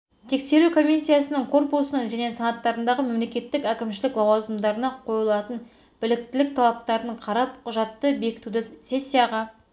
тексеру комиссиясының корпусының және санаттарындағы мемлекеттік әкімшілік лауазымдарына қойылатын біліктілік талаптарын қарап құжатты бекітуді сессияға